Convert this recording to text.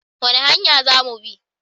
Wani hanya za mu bi?